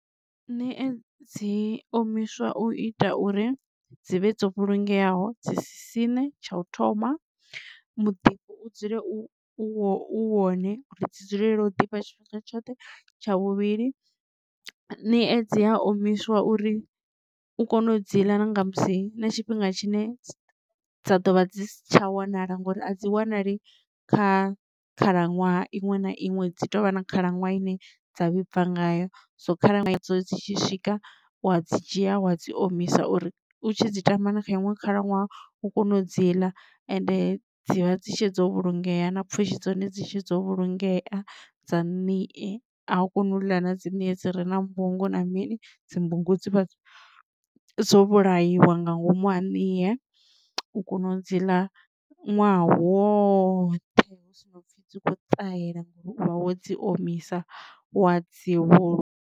Ṋie dzi omiswa u ita uri dzi vhe dzo vhulungeaho dzi si siṋe tsha u thoma muḓifho u dzule u u wone uri dzi dzulele u ḓifha tshifhinga tshoṱhe tsha vhuvhili ṋie dzi a omiswa uri u kone u dziḽa na nga musi na tshifhinga tshine dza ḓovha dzi si tsha wanala ngori a dzi wanali kha khalaṅwaha iṅwe na iṅwe dzi tovha na khalaṅwaha ine dza vhibva ngayo. So khalaṅwaha idzo dzi tshi swika uwa dzi dzhia wa dzi omisa uri u tshi dzi tamba na kha iṅwe khalaṅwaha u kone u dzi ḽa ende dzivha dzi tshutshedzo vhulungea na pfhushi dza hone dzi vha dzitshe dzo vhulungea dza niye a u koni u ḽa na dzi ṋie dzi re na mbungu na mini dzimbungu dzi vha dzo vhulaiwa nga ngomu ha niye u kona u dzi ḽa ṅwaha woṱhe hu si no pfhi dzi kho ṱahela ngauri u vha wo dzi omisa wa dzivhulu.